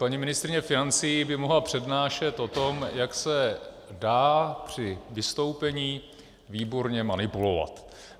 Paní ministryně financí by mohla přednášet o tom, jak se dá při vystoupení výborně manipulovat.